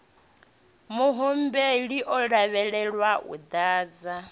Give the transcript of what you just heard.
muhumbeli u lavhelelwa u ḓadza